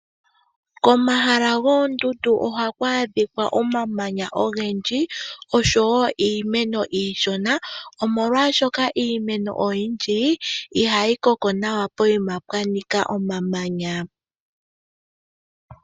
Komahala goondundu ohaku adhika omamanya ogendji oshowo iimeno iishona, molwashoka iimeno oyindji ihayi koko nawa pokuma pwa nika omamanya.